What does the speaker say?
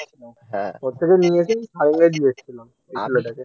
ওর থেকে নিয়ে এসেই সারেঙ্গা তে দিয়ে এসছিলাম সেই ছেলেটাকে